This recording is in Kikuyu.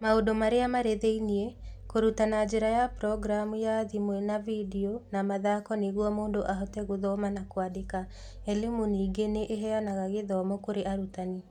Maũndũ Marĩa Marĩ Thĩinĩ: Kũruta na njĩra ya programu ya thimũ na video na mathako nĩguo mũndũ ahote gũthoma na kwandĩka. e-Limu ningĩ nĩ ĩheanaga gĩthomo kurĩ arutani.